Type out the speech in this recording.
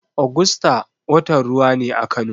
Ogusta watan ruwa ne a Kano.